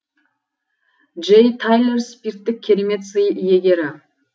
джей тайлер спирттік керемет сый иегері